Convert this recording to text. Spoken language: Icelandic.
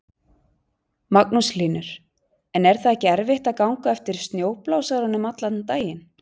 Magnús Hlynur: En er það ekki erfitt að ganga á eftir snjóblásaranum allan daginn?